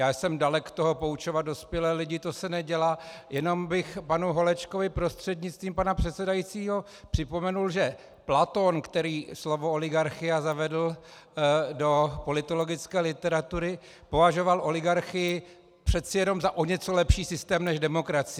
Já jsem dalek toho poučovat dospělé lidi, to se nedělá, jenom bych panu Holečkovi prostřednictvím pana předsedajícího, připomenul, že Platón, který slovo oligarchia zavedl do politologické literatury, považoval oligarchii přeci jenom za o něco lepší systém než demokracii.